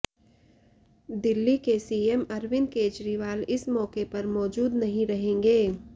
दिल्ली के सीएम अरविंद केजरीवाल इस मौके पर मौजूद नहीं रहेंगे